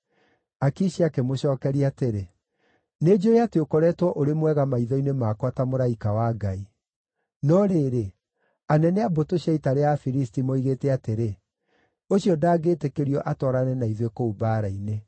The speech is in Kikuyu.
Akishi akĩmũcookeria atĩrĩ, “Nĩnjũũĩ atĩ ũkoretwo ũrĩ mwega maitho-inĩ makwa ta mũraika wa Ngai; no rĩrĩ, anene a mbũtũ cia ita rĩa Afilisti moigĩte atĩrĩ, ‘Ũcio ndangĩĩtĩkĩrio atwarane na ithuĩ kũu mbaara-inĩ.’